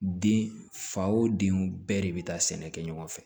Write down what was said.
Den fa wo denw bɛɛ de bɛ taa sɛnɛ kɛ ɲɔgɔn fɛ